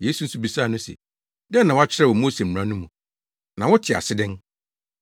Yesu nso bisaa no se, “Dɛn na wɔakyerɛw wɔ Mose mmara no mu? Na wote ase dɛn?”